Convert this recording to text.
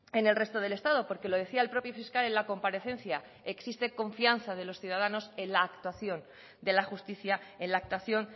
en el resto del estado porque lo decía el propio fiscal en la comparecencia existe confianza de los ciudadanos en la actuación de la justicia en la actuación